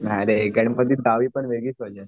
नाही रे गणपतीत गावी पण वेगळीच मज्जाय.